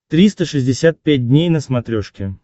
триста шестьдесят пять дней на смотрешке